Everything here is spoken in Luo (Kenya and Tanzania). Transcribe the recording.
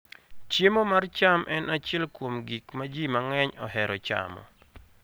Chiemo mar cham en achiel kuom gik ma ji mang'eny ohero chamo.